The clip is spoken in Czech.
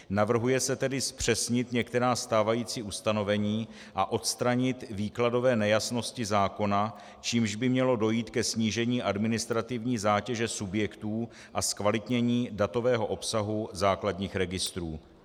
Navrhuje se tedy zpřesnit některá stávající ustanovení a odstranit výkladové nejasnosti zákona, čímž by mělo dojít ke snížení administrativní zátěže subjektů a zkvalitnění datového obsahu základních registrů.